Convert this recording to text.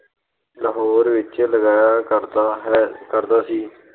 ਲਾਹੌਰ ਵਿੱਚ ਲੱਗਿਆ ਕਰਦਾ ਹੈ ਅਹ ਕਰਦਾ ਸੀ ।